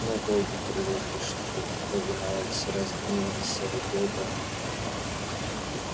но боги привыкли чтобы им повиновались и разгневанный серый бобр